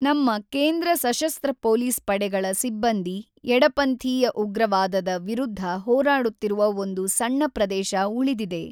ನಮ್ಮ ಕೇಂದ್ರ ಸಶಸ್ತ್ರ ಪೊಲೀಸ್ ಪಡೆಗಳ ಸಿಬ್ಬಂದಿ ಎಡಪಂಥೀಯ ಉಗ್ರವಾದದ ವಿರುದ್ಧ ಹೋರಾಡುತ್ತಿರುವ ಒಂದು ಸಣ್ಣ ಪ್ರದೇಶ ಉಳಿದಿದೆ.